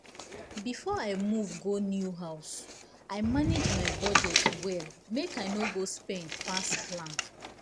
before i move go new go new house i manage my budget well make i no go spend pass plan.